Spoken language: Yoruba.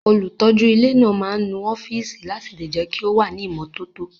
Olùtọ́jú ilé náà máa ń nu ọ́fíìsì láti lè jẹ́ kí ó wà ní ìmọ́tótó